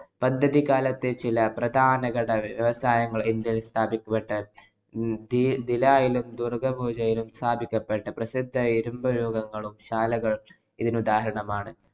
പദ്ധതി കാലത്തെ ചില പ്രധാന ഘടക വ്യവസായങ്ങള്‍ ഇന്‍ഡ്യയില്‍ സ്ഥാപിക്കുകയുണ്ടായി. ഭീലായിലും ദുർഗാപൂരിലും സ്ഥാപിക്കപ്പെട്ട പ്രസിദ്ധ ഇരുമ്പ് രൂപങ്ങളും, ശാലകളും ഇതിനുദാഹരണമാണ്.